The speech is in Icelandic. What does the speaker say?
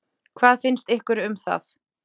Hvað finnst ykkur um það?